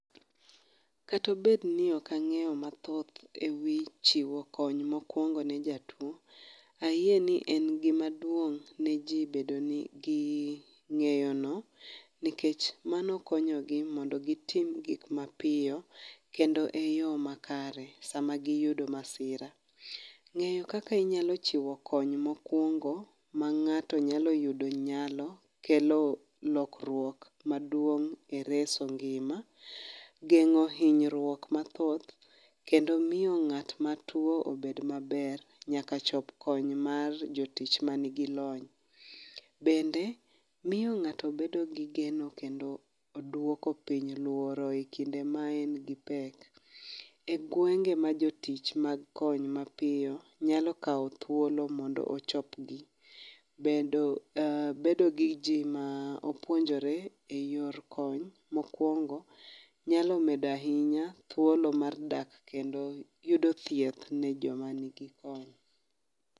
Kata obed ni ok ang'eyo mathoth e wi chiwo kony mokwongo ne jatuwo, ayie ni en gimaduong' ne ji bedo gi ng'eyono nikech mano konyogi mondo gitim gik mapiyo kendo eyo makare sama giyudo masira. Ng'eyo kaka inyalo chiwo kony mokwongo ma ng'ato nyalo yudo nyalo kelo lokruok maduong' e reso ngima. Geng'o hinyruok mathoth kendo miyo ng'at matuwo bed maber, nyaka chop kony mar jotich manigi lony. Bende miyo ng'ato bedo gi geno kendo dwoko piny luoro e kinde ma en gi pek. E gwenge ma jotich mag kony mapiyo nyalo kawo thuolo mondo ochopgi, bedo gi ji ma opuonjore i yor kony mokwongo, nyalo medo ahinya thuolo mar dak kendo yudo thieth ne joma nigi kony.